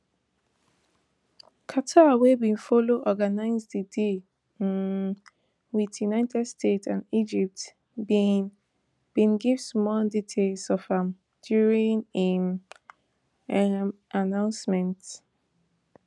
qatar wey bin follow organise di deal um with united states and egypt bin bin give small details of am during im um announcement